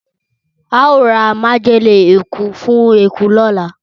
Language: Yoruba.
Ao ra majele eku fun eku lola.